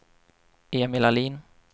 Emil Ahlin